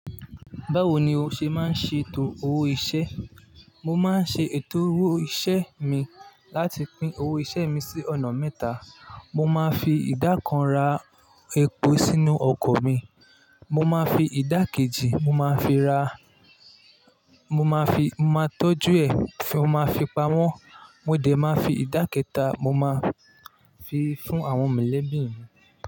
Báwo ni o ṣe máa ń ṣe ètò owó iṣẹ́? Mo máa ń ṣe ètò owó iṣẹ́ mi láti pín owó iṣẹ́ mi sí ọ̀nà mẹ́ta. Mo máa ń fi ìdá kan ra epo sínú ọkọ̀ mi. Mo máa ń fi ìdá kejì mo máa ń fi ra, mo máa fi, mo máa tọ́jú ẹ̀, mo máa fi pamọ́. Mó dé máa ń fi ìdá kẹ́ta mo máa ń fi fún àwọn mọ̀lẹ́bí mi.